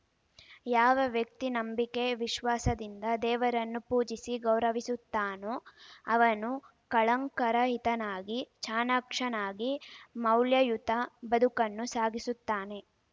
ಯಾವ ವ್ಯಕ್ತಿ ನಂಬಿಕೆ ವಿಶ್ವಾಸದಿಂದ ದೇವರನ್ನು ಪೂಜಿಸಿ ಗೌರವಿಸುತ್ತಾನೋ ಅವನು ಕಳಂಕರಹಿತನಾಗಿ ಚಾಣಾಕ್ಷನಾಗಿ ಮೌಲ್ಯಯುತ ಬದುಕನ್ನು ಸಾಗಿಸುತ್ತಾನೆ